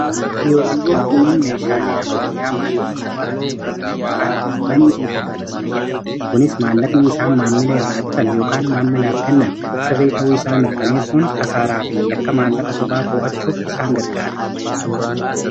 Kiyoziiwwan kunniin meeshaalee ammayyaa maallaqa sobaa adda baasan yookaan manii diiteektiras fayyadamu kunis maallaqni isaan maammila irraa bitan yookaan maammilaaf kennan sirrii ta'uu isaa mirkaneessuun kasaaraa fi yakka maallaqa sobaa too'achuuf isaan gargaara.